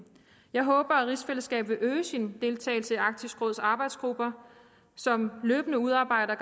jeg håber at rigsfællesskabet vil øge sin deltagelse i arktisk råds arbejdsgrupper som løbende udarbejder